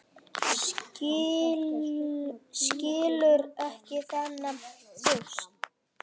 Skilur ekki þennan þjóst.